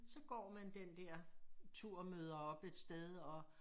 Så går man den der tur og møder op et sted og